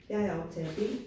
Jeg er optager B